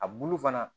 A bulu fana